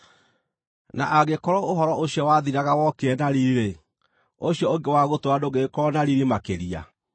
Na angĩkorwo ũhoro ũcio wathiraga wokire na riiri-rĩ, ũcio ũngĩ wa gũtũũra ndũngĩgĩkorwo na riiri makĩria!